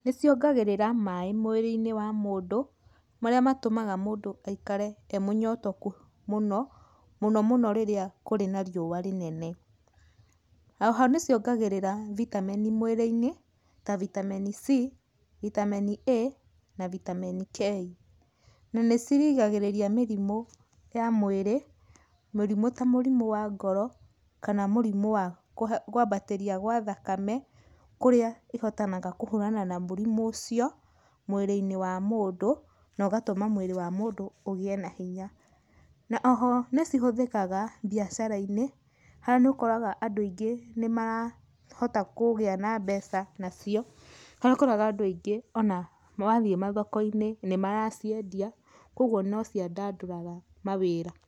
Nĩciongagĩrĩra maaĩ mwĩri-inĩ wa mũndũ, marĩa matũmaga mũndũ aikare e mũnyotoku mũno, mũno mũno rĩrĩa kũrĩ na riũa rĩnene. Oho nĩciongagĩrĩra vitameni mwĩrĩ-inĩ, ta vitameni C, vitameni A na vitameni K. Na nĩcirigagĩrĩria mĩrimũ ya mwĩrĩ, mĩrimũ ta mũrimũ wa ngoro kana mũrimũ wa kwambatĩria gwa thakame, kũrĩa ihotanaga kũhũrana na mũrimũ ũcio mwĩrĩ-inĩ wa mũndũ, nogatũma mwĩrĩ wa mũndũ ũgĩe na hinya. Na oho nĩcihũthĩkaga biacara-inĩ, haha nĩ ũkoraga andũ aingĩ nĩmarahota kũgĩa na mbeca nacio, harĩa ũkoraga andũ aingĩ ona mathiĩ mathoko-inĩ nĩmaraciendia, ũguo no ciandandũraga mawĩra.